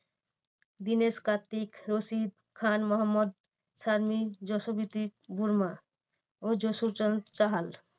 দিনেক কার্তিক, রশিদ খান, মোহাম্মদ সামি, জাসপ্রিত বুমরা ও জুজুবেন্দ্রা চাহাল।